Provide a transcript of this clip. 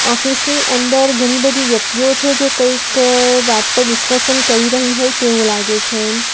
Office ની અંદર ઘણી બધી વ્યક્તિઓ છે જે કંઈક વાત પર ડિસ્કશન કરી રહી હોય તેવું લાગે છે.